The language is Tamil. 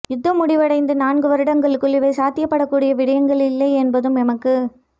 யுத்தம் முடிவடைந்து நான்கு வருடங்களுக்குள் இவை சாத்தியப்படக்கூடிய விடயங்கள் இல்லை எனபதும் எமக்கு